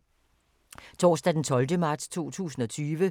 Torsdag d. 12. marts 2020